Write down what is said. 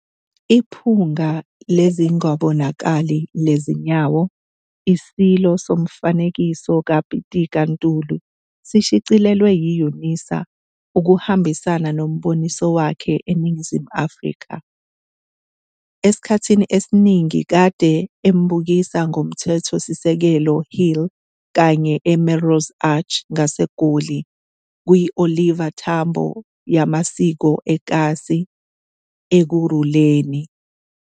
'Iphunga Lezingabonakali Lezinyawo- ISilo Somfanekiso kaPitika Ntuli' sishicilelwe yi-UNISA ukuhambisana noMboniso wakhe eNingizimu Afrika. Esikhathi esiningi kade embukisa koMthethosisekelo Hill kanye eMelrose Arch ngaseGoli, kwiOliver Tambo yemasiko ekhatsi Ekhuruleni.